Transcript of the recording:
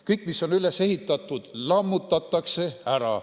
Kõik, mis on üles ehitatud, lammutatakse ära.